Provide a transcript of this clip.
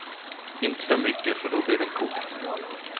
Inte för mycket för då blir den kokt.